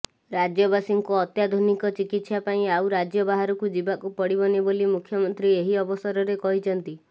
ରାଜ୍ୟବାସୀଙ୍କୁ ଅତ୍ୟାଧୁନିକ ଚିକିତ୍ସା ପାଇଁ ଆଉ ରାଜ୍ୟ ବାହାରକୁ ଯିବାକୁ ପଡିବନି ବୋଲି ମୁଖ୍ୟମନ୍ତ୍ରୀ ଏହି ଅବସରରେ କହିଛନ୍ତି